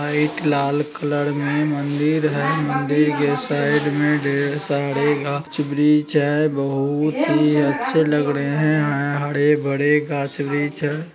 अ एक लाल कलर में मंदिर है | मंदिर के साइड में ढेर सारे घास वृछ हैं | बहुत ही अच्छे लग रहे हैं | हरे भरे घास वृछ --